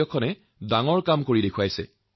কম পৰিসৰৰ ভূমিৰ ৰাজ্যখনত এক বিশাল কাম কৰি দেখুৱাইছে